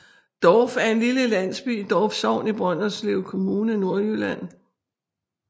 Dorf er en lille landsby i Dorf Sogn i Brønderslev Kommune Nordjylland